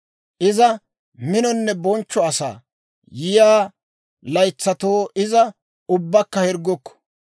Iza minonne bonchcho asaa; yiyaa laytsatoo iza ubbakka hirggukku.